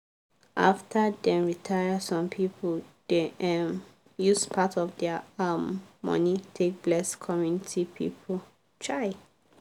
after dem retire some people dey um use part of dia um money take bless community people. um